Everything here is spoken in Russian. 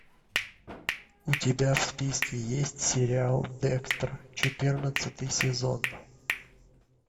у тебя в списке есть сериал декстер четырнадцатый сезон